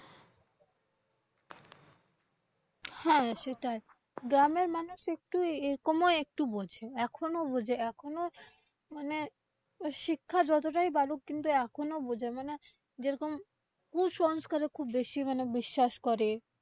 হ্যাঁ সেটাই, গ্রামের মানুষ একটু একমই একটু বোঝে এখনো বোঝে এখনো মানে, শিক্ষার যতটা বাড়ুক এখনোই বোঝে না মানে যে রকম, কুসংস্কারে খুব বেশি মানে বিশ্বাস করে।